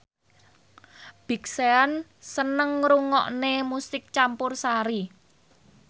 Big Sean seneng ngrungokne musik campursari